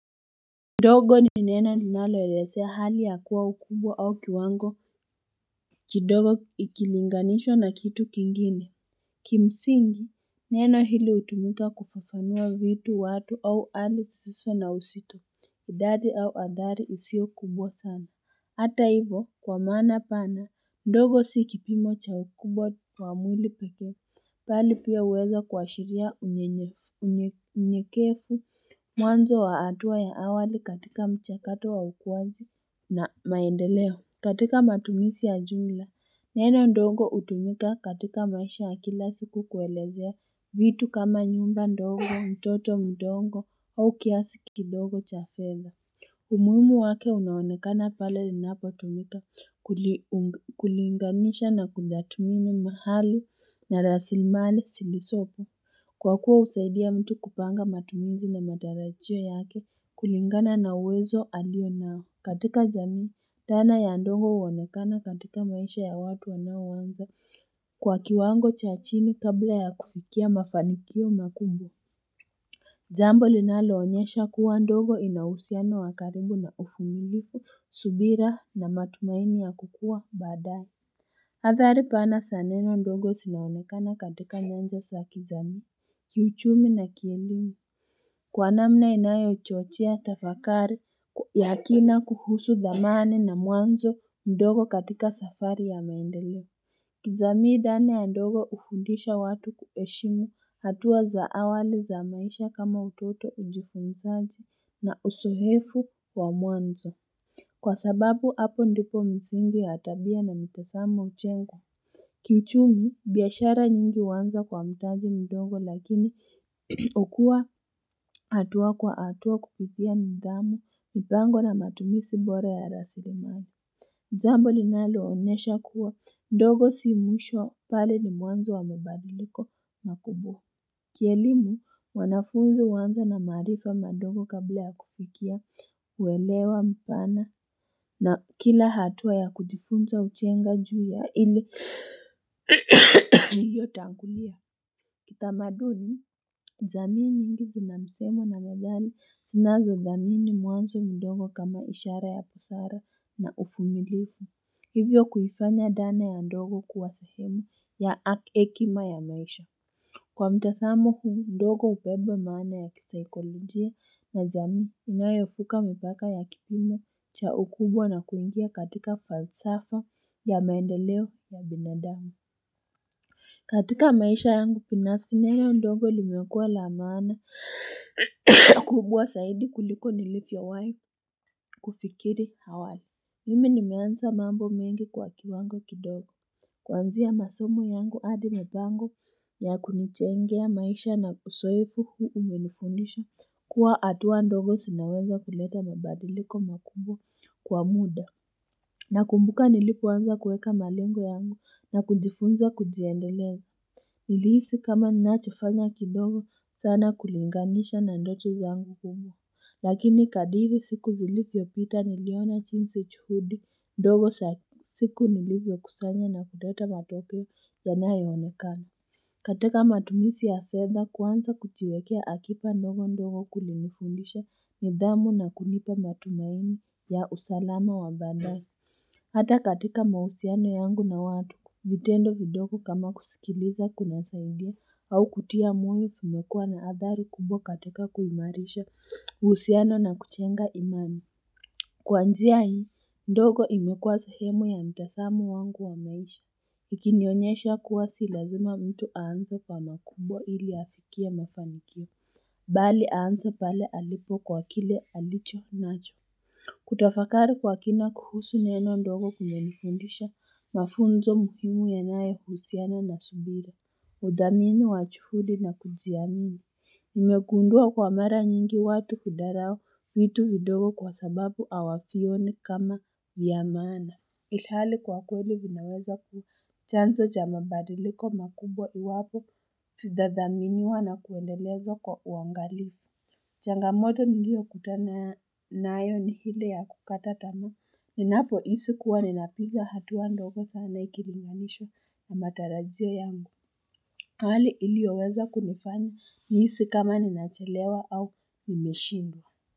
Ndogo ni nena ninaloelezea hali ya kuwa ukubwa au kiwango kidogo ikilinganishwa na kitu kingine Kimsingi neno hili hutumika kufafanua vitu watu au hali zisizo na uzito idadi au athari isio kubwa sana Hata hivo kwa maana pana ndogo si kipimo cha ukubwa kwa mwili pekee bali pia huweza kuashiria unyenyekevu Mwanzo wa hatua ya awali katika mchakato wa ukuwaji na maendeleo katika matumizi ya jumla. Neno ndogo hutumika katika maisha ya kila siku kuelezea vitu kama nyumba ndogo, mtoto mdogo au kiasi kidogo cha fedha. Umuhimu wake unaonekana pale linapotumika kulinganisha na kutathmini hali na rasilimali zilizopo Kwa kuwa husaidia mtu kupanga matumizi na matarajio yake kulingana na uwezo alio nao katika jamii dhana ya ndogo huonekana katika maisha ya watu wanaoanza kwa kiwango cha chini kabla ya kufikia mafanikio makubwa jambo linaloonyesha kuwa ndogo ina uhusiano wa karibu na uvumilivu, subira na matumaini ya kukua baadaye athari pana za neno ndogo zinaonekana katika nyanja zaa kijamii Kiuchumi na kielimu Kwa namna inayochochea tafakari ya kina kuhusu dhamani na mwanzo mdogo katika safari ya maendeleo kijamii dhana ya ndogo hufudisha watu kuheshimu hatua za awali za maisha kama utoto ujifunzaji na uzoefu wa mwanzo. Kwa sababu hapo ndipo msingi ya tabia na mitazamo hujengwa. Kiuchumi biashara nyingi huanza kwa mtaji ni mdogo lakini hukua hatua kwa hatua kupitia nidhamu mipango na matumizi bora ya rasilimali. Jambo linaloonesha kuwa ndogo si mwisho bali ni mwanzo wa mabadiliko makubwa. Kielimu, wanafunzi huanza na maarifa madogo kabla ya kufikia, uelewa, mpana, na kila hatua ya kujifunza hujenga juu ya ile iliyotangulia. Kitamaduni, jamii nyingi zina msemo na methali zinazodhamini mwanzo mdogo kama ishara ya busara na uvumilivu. Hivyo kuifanya dhana ya ndogo kuwa sehemu ya hekima ya maisha. Kwa mtazamo huu ndogo hubeba maana ya kisaikolojia na jamii inayovuka mipaka ya kipimo cha ukubwa na kuingia katika falsafa ya maendeleo ya binadamu. Katika maisha yangu binafsi neno ndogo limekua la maana kubwa zaidi kuliko nilivyowahi kufikiri awali. Mimi nimeanza mambo mengi kwa kiwango kidogo. Kuanzia masomo yangu hadi mipango ya kunijengea maisha na uzoefu huu umenifundisha. Kuwa hatua ndogo zinaweza kuleta mabadiliko makubwa kwa muda. Nakumbuka nilipoanza kuweka malengo yangu na kujifunza kujiendeleza. Nilihisi kama ninachofanya kidogo sana kulinganisha na ndoto zangu kubwa. Lakini kadri siku zilivyopita niliona jinsi juhudi. Ndogo za siku nilivyokusanya na kuleta matokeo yanayoonekana katika matumizi ya fedha kuanza kujiwekea akiba ndogo ndogo kulinifundisha nidhamu na kunipa matumaini ya usalama wa badae hata katika mahusiano yangu na watu vitendo vidogo kama kusikiliza kunasaidia au kutia moyo vimekua na athari kubwa katika kuimarisha uhusiano na kujenga imani Kwa njia hii, ndogo imekuwa sehemu ya mtazamo wangu wa maisha. Ikinionyesha kuwa si lazima mtu aanze kwa makubwa ili afikie mafanikio. Bali aanze pale alipo kwa kile alicho nacho. Kutafakari kwa kina kuhusu neno ndogo kumenifundisha mafunzo muhimu yanayohusiana na subira. Udhamini wa juhudi na kujiamini. Nimegundua kuwa mara nyingi watu hudharau vitu vidogo kwa sababu hawavioni kama ya maana Ilhali kwa kweli vinaweza kuwa chanzo cha mabadiliko makubwa iwapo vitadhaminiwa na kuendelezwa kwa uangalifu changamoto niliyokutana nayo ni ile ya kukata tamaa Ninapohisi kuwa ninapiga hatua ndogo sana ikilinganishwa na matarajio yangu Hali iliyoweza kunifanya nihisi kama ninachelewa au nimeshindwa.